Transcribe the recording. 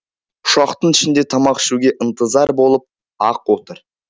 ұшақтың ішінде тамақ ішуге ынтызар болып ақ отыр